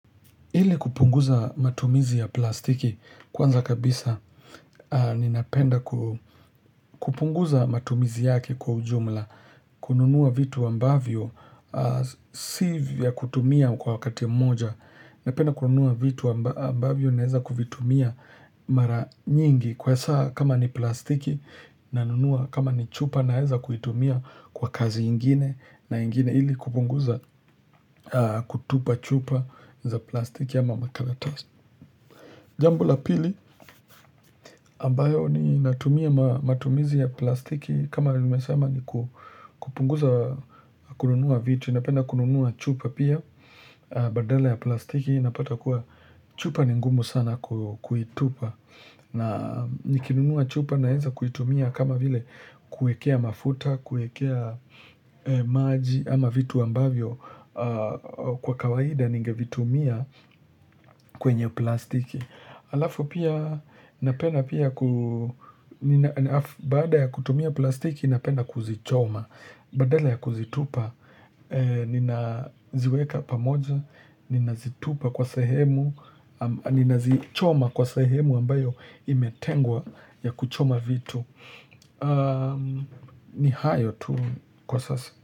Ili kupunguza matumizi ya plastiki kwanza kabisa ni napenda kupunguza matumizi yake kwa ujumla kununua vitu ambavyo si vya kutumia kwa wakati ya moja Napenda kununua vitu ambavyo naweza kuvitumia mara nyingi kwa saa kama ni plastiki na nunua kama ni chupa naeza kutumia kwa kazi ingine na ingine ili kupunguza kutupa chupa za plastiki ya makaratasi. Jambo la pili ambayo ni natumia matumizi ya plastiki kama nimesema ni kupunguza kununua vitu. Napenda kununua chupa pia badala ya plastiki. Napata kuwa chupa ni ngumu sana kuitupa. Na nikinunua chupa naenza kuitumia kama vile kuekea mafuta, kuekea maji ama vitu ambavyo. Kwa kawaida ningevitumia kwenye plastiki alafu pia napenda pia baada ya kutumia plastiki napenda kuzichoma badala ya kuzitupa Ninaziweka pamoja ninazitupa kwa sahemu ninazichoma kwa sahemu ambayo imetengwa ya kuchoma vitu ni hayo tu kwa sasa.